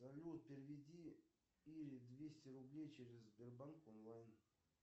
салют переведи ире двести рублей через сбербанк онлайн